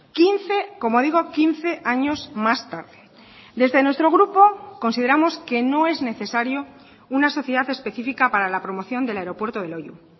quince como digo quince años más tarde desde nuestro grupo consideramos que no es necesario una sociedad específica para la promoción del aeropuerto de loiu